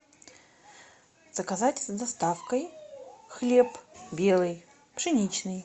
заказать с доставкой хлеб белый пшеничный